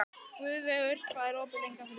Guðveigur, hvað er opið lengi á þriðjudaginn?